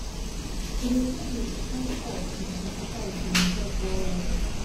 to dey save with full force since twenty five been help well well